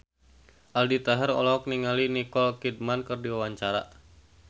Aldi Taher olohok ningali Nicole Kidman keur diwawancara